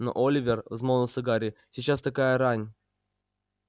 но оливер взмолился гарри сейчас такая рань